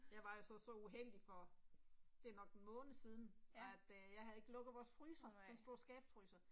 Jeg var altså så uheldig for, det er nok en måned siden, og at øh jeg havde ikke lukket vores fryser, sådan en stor skabsfryser